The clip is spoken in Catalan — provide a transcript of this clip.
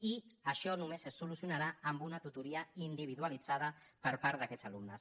i això només es solucionarà amb una tutoria individualitzada per part d’aquests alumnes